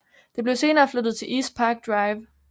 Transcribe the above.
Det blev senere flyttet til East Park Drive